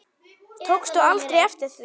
Tókstu aldrei eftir því?